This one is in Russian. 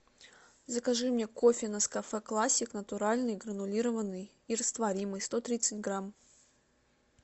закажи мне кофе нескафе классик натуральный гранулированный и растворимый сто тридцать грамм